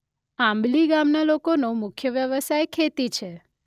આબંલી ગામના લોકોનો મુખ્ય વ્યવસાય ખેતી છે.